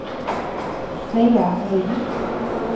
Svea Ring